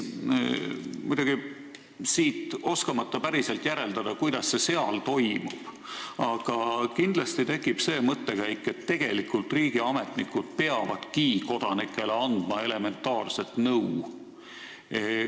Muidugi ma ei oska päriselt järeldada, kuidas see seal toimub, aga kindlasti tekib selle peale mõte, et tegelikult riigiametnikud peavadki kodanikele elementaarset nõu andma.